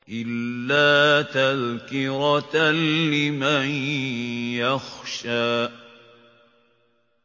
إِلَّا تَذْكِرَةً لِّمَن يَخْشَىٰ